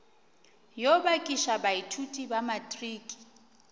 yo bakiša baithuti ba matriki